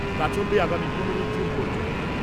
তা চলবে আগামী পনেরোই জুন পর্যন্ত।